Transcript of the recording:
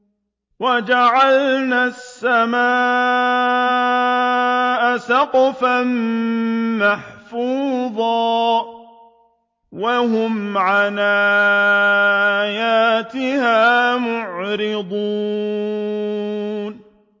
وَجَعَلْنَا السَّمَاءَ سَقْفًا مَّحْفُوظًا ۖ وَهُمْ عَنْ آيَاتِهَا مُعْرِضُونَ